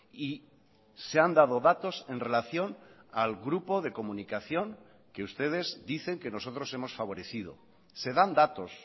y se han dado datos en relación al grupo de comunicación que ustedes dicen que nosotros hemos favorecido se dan datos